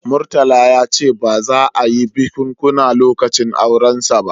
Murtala ya ce ba za a yi bikunkuna lokacin aurensa ba